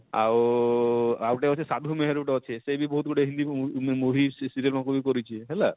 ଆଉ ଉଁ ଉଁ ଆଉ ଗୁଟେ ଅଛେ ସାଧୁ ମେହେରୁ ଟେ ଅଛେ ସେ ବି ବହୁତ ଗୁଟେ ହିନ୍ଦୀ movie movie serial ମାନକୁ ବି କରିଛେ ହେଲା